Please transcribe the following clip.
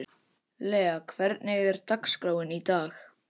Lea, hvernig er dagskráin í dag?